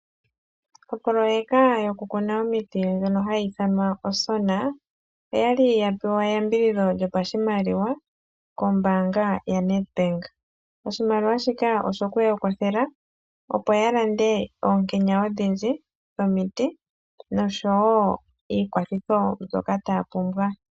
Opoloyeka yokukuna omiti ndjono hayi ithanwa Osona okwali yapewa eyambidhidho lyopashimaliwa kombaanga yaNetbank. Oshimaliwa shika oshokuya kwathela opo yalande oonkenya odhindji dhomiti noshowo iikwathitho ndyoka taya pumbwa.